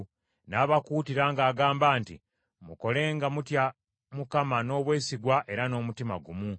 N’abakuutira ng’agamba nti, “Mukole nga mutya Mukama , n’obwesigwa era n’omutima gumu.